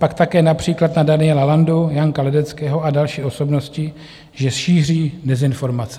Pak také například na Daniela Landu, Janka Ledeckého a další osobnosti, že šíří dezinformace.